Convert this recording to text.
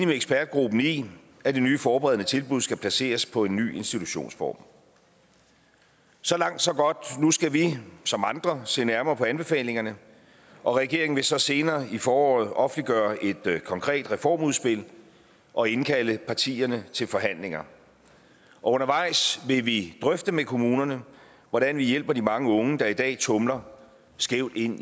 med ekspertgruppen i at det nye forberedende tilbud skal placeres på en ny institutionsform så langt så godt nu skal vi som andre se nærmere på anbefalingerne og regeringen vil så senere i foråret offentliggøre et konkret reformudspil og indkalde partierne til forhandlinger og undervejs vil vi drøfte med kommunerne hvordan vi hjælper de mange unge der i dag tumler skævt ind